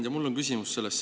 Hea ettekandja!